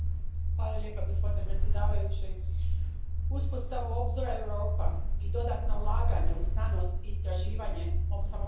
Poštovani predsjedavajući, uspostavu Obzora Europa i dodatna ulaganja u znanost i istraživanje mogu samo pozdraviti.